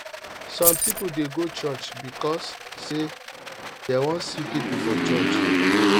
some people de go church because say dem won see pipo for church